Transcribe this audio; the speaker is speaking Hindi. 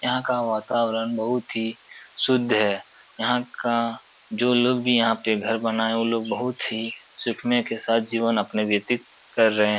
यहाँ का वातावरण बहुत ही शुद्ध है। यहाँ का जो लोग भी यहाँ पे घर बनाये वो लोग बहुत ही सूखमय के साथ ही जीवन अपना व्यतीत कर रहे हैं।